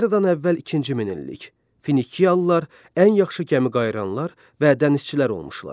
Eradan əvvəl ikinci minillik Finiyalılar ən yaxşı gəmiqayıranlar və dənizçilər olmuşlar.